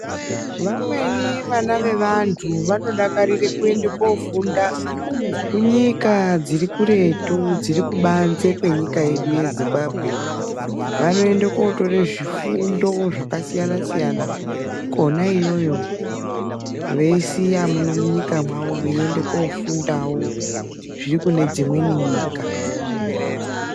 Vamweni vana vevanthu vanodakarira kuende kofunda kunyika dziri kuretu kubanze kwenyika yedu yeZimbabwe. Vanoende kotore zvifundo zvakasiyana siyana kona iyoyo veisiya muno munyika mwavo veiende kofundawo zviri kune dzimweni nyika.